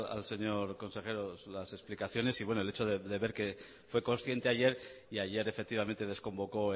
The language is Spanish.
al señor consejero las explicaciones y bueno el hecho de ver que fue consciente ayer y ayer efectivamente desconvocó